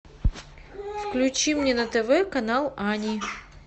включи мне на тв канал ани